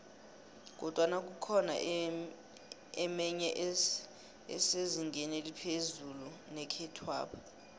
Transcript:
kodwana kukhona emenye esezingeni eliphezu nekhethwapha